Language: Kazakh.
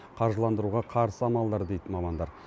қаржыландыруға қарсы амалдар дейді мамандар